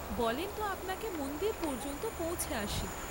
বলেন ত আপনাকে মন্দির পর্য্যন্ত পৌঁছে আসি।